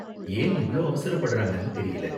ஏன் இவ்ளோ அவசரப்படுறாங்கனு தெரியல.